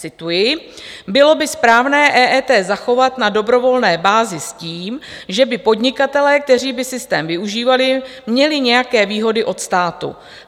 Cituji: Bylo by správné EET zachovat na dobrovolné bázi s tím, že by podnikatelé, kteří by systém využívali, měli nějaké výhody od státu.